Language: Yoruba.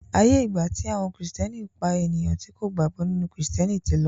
aiyé igba ti àwọn Kristiani pá ènìyàn tí kò gbàgbó nínú Kristiẹniti tí ló.